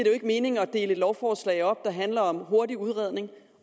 jo ikke mening at dele et lovforslag op der handler om hurtig udredning